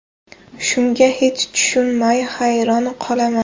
Shunga hech tushunmay, hayron qolaman”.